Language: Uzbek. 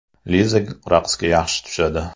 Liza raqsga yaxshi tushadi.